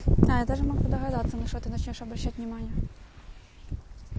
я даже могу догадаться на что ты начинаешь обращать внимание